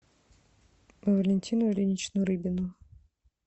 валентину ильиничну рыбину